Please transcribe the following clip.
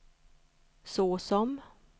såsom